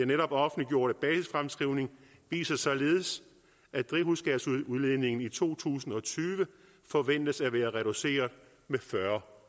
netop offentliggjorte basisfremskrivning viser således at drivhusgasudledningen i to tusind og tyve forventes at være reduceret med fyrre